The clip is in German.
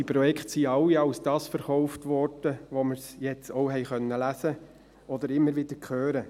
Die Projekte wurden alle als das verkauft, was wir jetzt auch lesen konnten oder immer wieder hören: